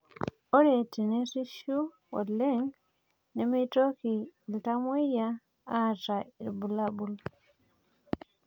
Ore tenerishu oleng meitoki iltamoyia aata irbulabol